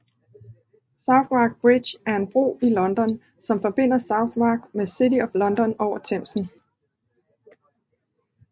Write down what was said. Southwark Bridge er en bro i London som forbinder Southwark med City of London over Themsen